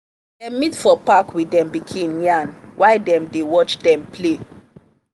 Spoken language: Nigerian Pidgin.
dem meet for park with dem pikin yarn while dem dey watch dem play.